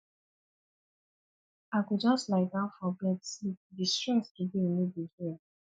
i go just lie down for bed sleep di stress today no be here